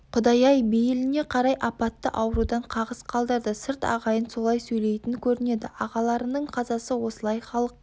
құдай-ақ бейіліне қарай апатты аурудан қағыс қалдырды сырт ағайын солай сөйлейтін көрінеді ағаларының қазасы осылай халық